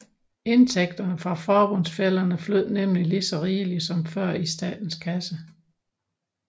Indtægterne fra forbundsfællerne flød nemlig lige så rigeligt som før ind i statens kasse